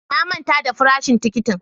Na manta da farashin tikitin.